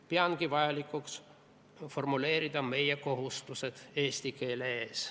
Ma peangi vajalikuks formuleerida meie kohustused eesti keele ees.